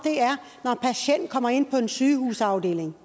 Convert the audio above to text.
er kommer ind på en sygehusafdeling